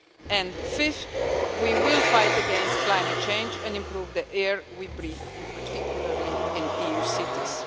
And fifth, we will fight against climate change and improve the air we breathe, in particular in EU cities.